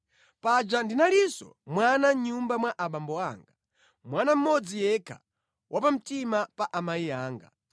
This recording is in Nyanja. Paja ndinalinso mwana mʼnyumba mwa abambo anga; mwana mmodzi yekha wapamtima pa amayi anga.